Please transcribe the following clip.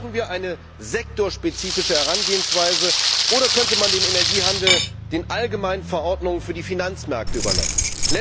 Brauchen wir eine sektorspezifische Herangehensweise, oder könnte man den Energiehandel den allgemeinen Verordnungen für die Finanzmärkte überlassen?